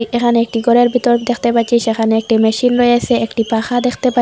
এখানে একটি গরের বিতর দেখতে পাচ্ছি সেখানে একটি মেশিন রয়েছে একটি পাখা দেখতে পা--